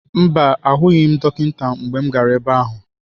Mba, ahụghị m dọkịta mgbe m gara ebe ahụ.